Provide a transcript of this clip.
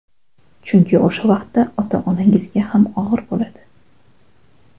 Chunki o‘sha vaqtda ota-onangizga ham og‘ir bo‘ladi.